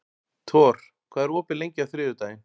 Thor, hvað er opið lengi á þriðjudaginn?